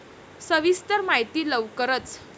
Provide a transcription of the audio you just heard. सविस्तर माहिती लवकरच